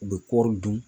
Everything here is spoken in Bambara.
U bɛ kɔri dun